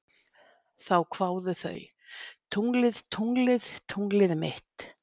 Þá kváðu þau: Tunglið, tunglið, tunglið mitt